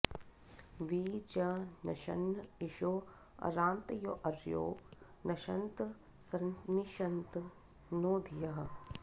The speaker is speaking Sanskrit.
वि च॒ नश॑न्न इ॒षो अरा॑तयो॒ऽर्यो न॑शन्त॒ सनि॑षन्त नो॒ धियः॑